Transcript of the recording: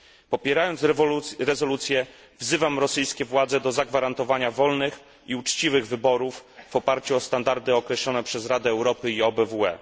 Popierając rezolucję, wzywam rosyjskie władze do zagwarantowania wolnych i uczciwych wyborów w oparciu o standardy określone przez Radę Europy i OBWE.